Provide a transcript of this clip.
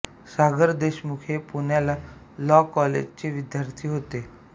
सागर देशमुख हे पुण्याच्या लॉ कॉलेजचे विद्यार्थी होते